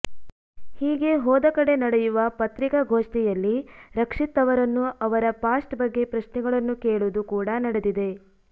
ಹೀಗೆ ಹೋದ ಕಡೆ ನಡೆಯುವ ಪತ್ರಿಕಾ ಗೋಷ್ಠಿಯಲ್ಲಿ ರಕ್ಷಿತ್ ಅವರನ್ನು ಅವರ ಪಾಸ್ಟ್ ಬಗ್ಗೆ ಪ್ರಶ್ನೆಗಳನ್ನು ಕೇಳುವುದು ಕೂಡಾ ನಡೆದಿದೆ